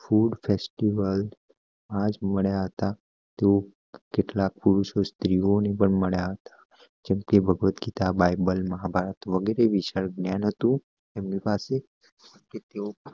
food festival તેઓ કેટલાક પુરુષો સ્ત્રીઓ ને માંડ્યા હતા જેમ કે ભાગવત ગીતા બાઇબલે મહાભારત વગેરે નયન હતું એમની પાસે